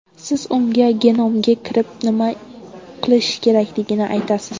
Siz unga genomga kirib nima qilish kerakligini aytasiz.